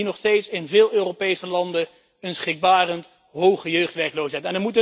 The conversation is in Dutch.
Want we zien nog steeds in veel Europese landen een schrikbarend hoge jeugdwerkloosheid.